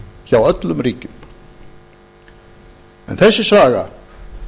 hjá öllum ríkjum en þessi saga